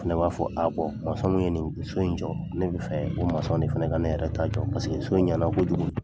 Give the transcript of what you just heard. Fana b'a fɔ a min ye nin so in jɔ ne bɛ fɛ o de fana ka ne yɛrɛ ta jɔ paseke so ɲana kojugu.